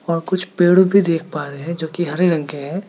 वहां कुछ पेड़ भी देख पा रहे हैं जोकि हरे रंग के है।